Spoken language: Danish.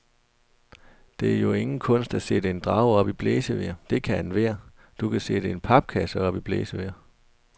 Det er jo ingen kunst at sætte en drage op i blæsevejr, det kan enhver, du kan sætte en papkasse op i blæsevejr.